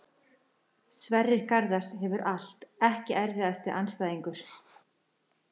Sverrir Garðars hefur allt Ekki erfiðasti andstæðingur?